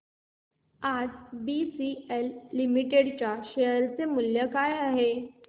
आज BCL limited च्या share चे मूल्य काय आहे